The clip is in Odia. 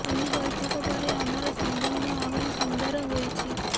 ଏହି ବୈଠକ ପରେ ଆମର ସମ୍ବନ୍ଧ ଆହୁରି ସୁନ୍ଦର ହୋଇଛି